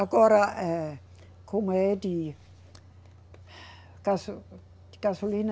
Agora eh, como é de, gaso, de gasolina,